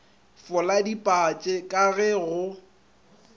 fola dipatše ka ge go